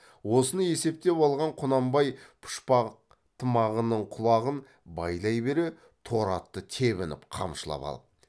осыны есептеп алған құнанбай пұшпақ тымағының құлағын байлай бере торы атты тебініп қамшылап алып